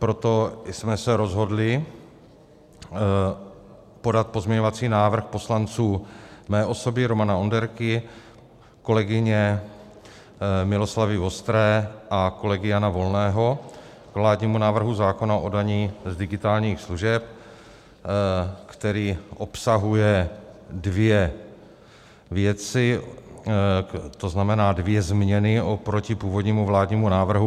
Proto jsme se rozhodli podat pozměňovací návrh poslanců mé osoby - Romana Onderky, kolegyně Miloslavy Vostré a kolegy Jana Volného k vládnímu návrhu zákona o dani z digitálních služeb, který obsahuje dvě věci, to znamená dvě změny oproti původnímu vládnímu návrhu.